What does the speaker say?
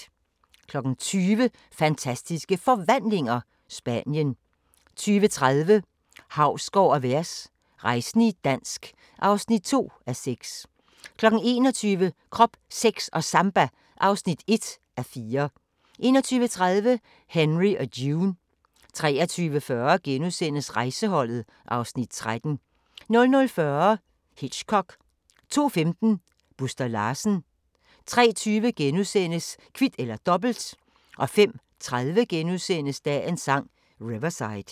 20:00: Fantastiske Forvandlinger – Spanien 20:30: Hausgaard & Vers – rejsende i dansk (2:6) 21:00: Krop, Sex & Samba (1:4) 21:30: Henry og June 23:40: Rejseholdet (Afs. 13)* 00:40: Hitchcock 02:15: Buster Larsen 03:20: Kvit eller Dobbelt * 05:30: Dagens Sang: Riverside *